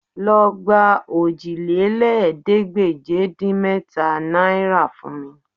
Lọ gba òjìlélẹ́ẹ̀ẹ́dégbèje-dín-mẹ́ta náìrà fún mi